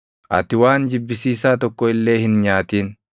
Ati waan jibbisiisaa tokko illee hin nyaatin.